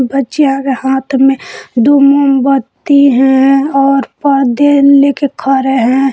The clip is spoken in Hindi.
बच्चियों के हाथ में दो मोमबत्ती है लेकर खरे हैं।